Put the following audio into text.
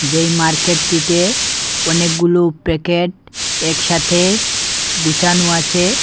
যেই মার্কেট -টিতে অনেকগুলো প্যাকেট একসাথে গুছানো আছে।